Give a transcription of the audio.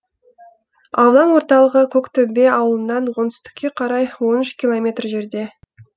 аудан орталығы көктөбе ауылынан оңтүстікке қарай он үш километр жерде